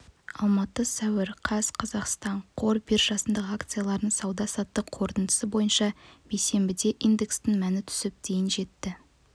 алматы сәуір қаз қазақстан қор биржасындағы акциялардың сауда-саттық қорытындысы бойынша бейсенбіде индексінің мәні түсіп дейін жетті